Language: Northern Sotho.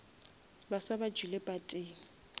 baswa ba tšwile pateng